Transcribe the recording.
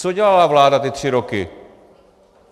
Co dělala vláda ty tři roky?